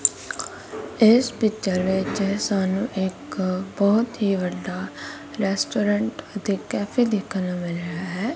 ਇਸ ਪਿੱਚਰ ਵਿੱਚ ਸਾਨੂੰ ਇੱਕ ਬਹੁਤ ਹੀ ਵੱਡਾ ਰੈਸਟੋਰੈਂਟ ਅਤੇ ਕੈਫੇ ਦੇਖਣ ਨੂੰ ਮਿਲ ਰਿਹਾ ਹੈ।